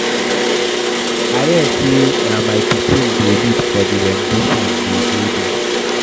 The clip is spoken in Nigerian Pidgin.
I hear say na my pikin wey dey lead for the rendition dey go do